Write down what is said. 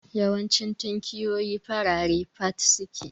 Yawancin tinkiyoyi farare fat suke